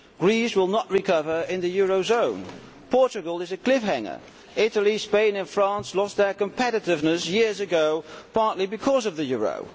Greece will not recover in the eurozone, Portugal is a cliff hanger, and Italy, Spain and France lost their competitiveness years ago, partly because of the euro.